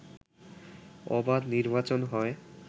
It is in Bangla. অবাধ নির্বাচন হয়